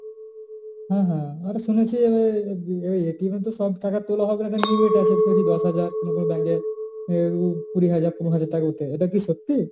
হ্যাঁ হ্যাঁ আরো শুনেছি যে এই এ তো সব টাকা তোলা হবে না। একটা limit আছে। যেমন দশ হাজার, কোন কোন bank এ কুড়ি হাজার, পনেরো হাজার টাকা অব্দি। এটা কি সত্যি?